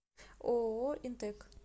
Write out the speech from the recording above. ооо интэк